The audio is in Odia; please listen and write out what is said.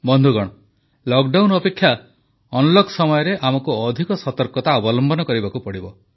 ବନ୍ଧୁଗଣ ଲକଡାଉନ ଅପେକ୍ଷା ଅନଲକ ସମୟରେ ଆମକୁ ଅଧିକ ସତର୍କତା ଅବଲମ୍ବନ କରିବାକୁ ପଡ଼ିବ